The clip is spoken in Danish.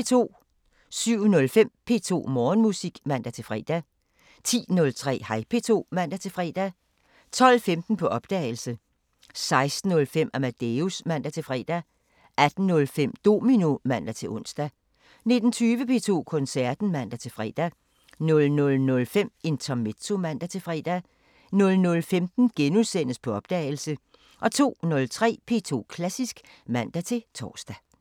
07:05: P2 Morgenmusik (man-fre) 10:03: Hej P2 (man-fre) 12:15: På opdagelse - 16:05: Amadeus (man-fre) 18:05: Domino (man-ons) 19:20: P2 Koncerten (man-fre) 00:05: Intermezzo (man-fre) 00:15: På opdagelse -* 02:03: P2 Klassisk (man-tor)